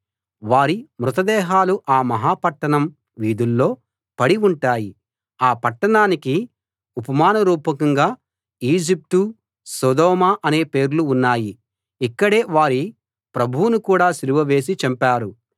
వారి మృత దేహాలు ఆ మహా పట్టణం వీధుల్లో పడి ఉంటాయి ఆ పట్టణానికి ఉపమాన రూపకంగా ఈజిప్టు సోదొమ అనే పేర్లు ఉన్నాయి ఇక్కడే వారి ప్రభువును కూడా సిలువ వేసి చంపారు